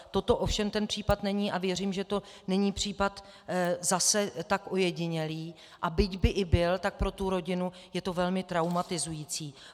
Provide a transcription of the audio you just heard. Toto ovšem ten případ není a věřím, že to není případ zase tak ojedinělý, a byť by i byl, tak pro tu rodinu je to velmi traumatizující.